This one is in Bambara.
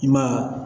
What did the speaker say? I ma ye